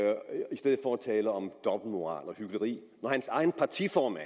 tale om dobbeltmoral og hykleri når hans egen partiformand